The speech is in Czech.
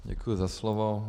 Děkuji za slovo.